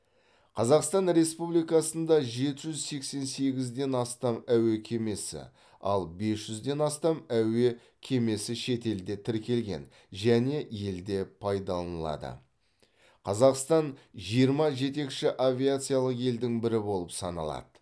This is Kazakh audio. қазақстан республикасында жеті жүз сексен сегізден астам әуе кемесі ал бес жүзден астам әуе кемесі шетелде тіркелген және елде пайдаланылады қазақстан жиырма жетекші авиациялық елдің бірі болып саналады